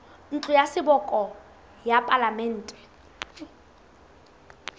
ntlo ya seboka ya palamente